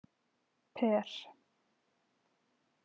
Per